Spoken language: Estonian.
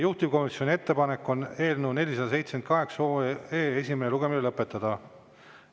Juhtivkomisjoni ettepanek on eelnõu 478 esimene lugemine lõpetada.